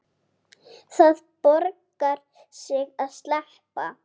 Það borgar sig að sleppa.